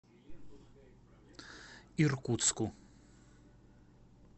иркутску